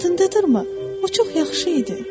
Yadındadırrmı, o çox yaxşı idi.